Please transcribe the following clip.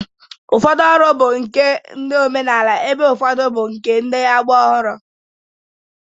Ụfọdụ ọrụ bụ nke ndị omenala ebe ụfọdụ bụ nke ndị agba ọhụrụ